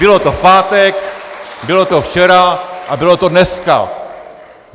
Bylo to v pátek, bylo to včera a bylo to dneska.